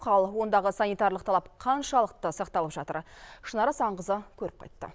ал ондағы санитарлық талап қаншалықты сақталып жатыр шынар асанқызы көріп қайтты